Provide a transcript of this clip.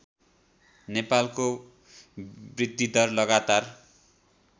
नेपालको वृद्धिदर लगातार